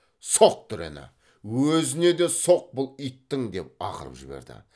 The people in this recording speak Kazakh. соқ дүрені өзіне де соқ бұл иттің деп ақырып жіберді